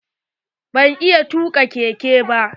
Ban iya tuka keke ba.